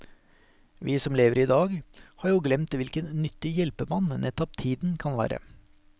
Vi som lever i dag, har jo glemt hvilken nyttig hjelpemann nettopp tiden kan være.